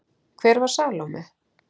Hver var Salóme?